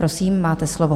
Prosím, máte slovo.